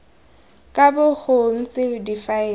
ka bo go ntse difaele